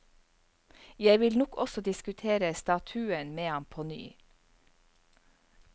Jeg vil nok også diskutere statuen med ham på ny.